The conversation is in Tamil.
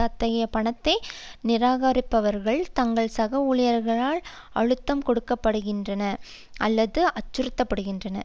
அத்தகைய பணத்தை நிராகரிப்பவர்கள் தங்கள் சக ஊழியர்களால் அழுத்தம் கொடுக்கப்படுகின்றனர் அல்லது அச்சுறுத்தப்படுகின்றனர்